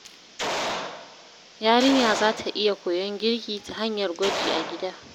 Yarinya za ta iya koyon girki ta hanyar gwaji a gida.